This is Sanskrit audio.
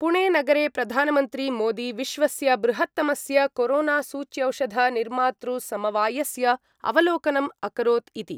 पुणेनगरे प्रधानमन्त्री मोदी विश्वस्य बृहत्तमस्य कोरोनासूच्यौषधनिर्मातृसमवायस्य अवलोकनम् अकरोत् इति।